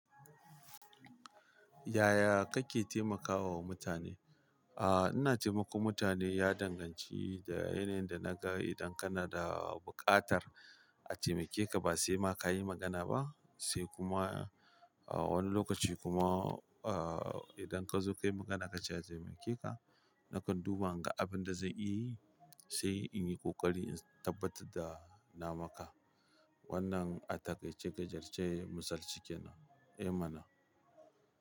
Yaya kake taimakawa mutane? Aaa, ina taimakon mutane ya danganci da yanayin da naga. Idan kana da buƙatar a taimake ka ba sai ma ka yi magana ba, sai kuma a wani lokaci kuma, aa idan ka zo ka yi magana ka ce a taimake ka, nakan duba in ga abin da zan iya yi, sai in yi ƙoƙari in tabbatar da na maka. Wannan a taƙaice gajarce misali cike na. Eh mana.